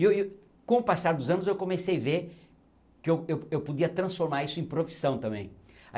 E e com o passar dos anos eu comecei a ver que eu eu podia transformar isso em profissão também.